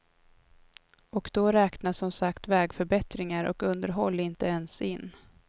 Och då räknas som sagt vägförbättringar och underhåll inte ens in.